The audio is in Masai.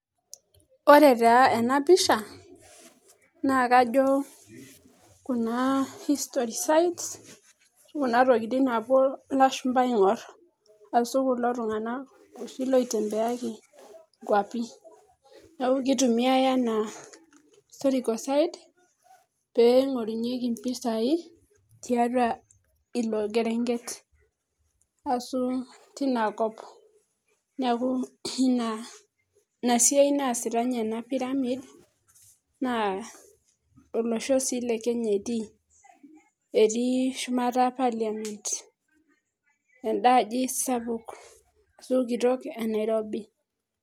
Ore taa enapisha, nakajo kuna history sites, kuna tokiting napuo ilashumpa aing'or, asu kulo tung'anak oshi loitembeaki nkwapi. Neeku kitumiai enaa historical site, peing'orunyeki mpisai, tiatua ilo kerenket. Asu tinakop. Neeku ina, ina esiai naasita nye ena pyramid, naa olosho si le Kenya etii. Etii shumata parliament. Enda aji sapuk asu kitok e Nairobi.